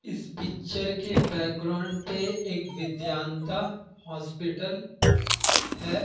इस पिक्चर के बैकग्राउंड पे एक विद्यान्ता हॉस्पिटल है।